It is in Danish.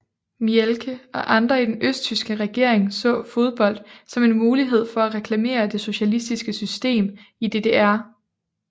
Mielke og andre i den østtyske regering så fodbold som en mulighed for at reklamere det socialistiske system i DDR